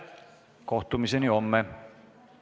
Kohtumiseni homme!